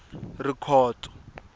rikhotso